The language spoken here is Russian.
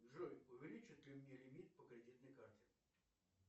джой увеличат ли мне лимит по кредитной карте